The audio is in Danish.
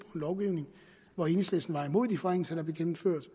lovgivning hvor enhedslisten var imod de forringelser der blev gennemført